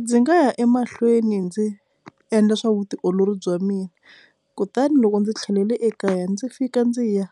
Ndzi nga ya emahlweni ndzi endla swa vutiolori bya mina kutani loko ndzi tlhelele ekaya ndzi fika ndzi ya